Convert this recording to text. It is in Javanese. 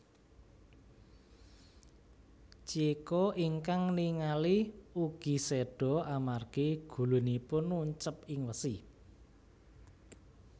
Chieko ingkang ningali ugi seda amargi gulunipun nuncep ing wesi